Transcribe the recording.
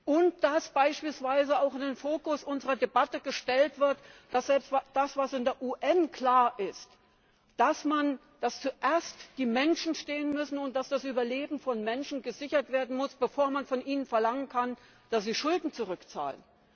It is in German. Und dass beispielsweise auch in den Fokus unserer Debatte gestellt wird, was in der UN klar ist, dass an erster Stelle die Menschen stehen müssen und dass das Überleben von Menschen gesichert werden muss, bevor man von ihnen verlangen kann, dass sie Schulden zurückzahlen!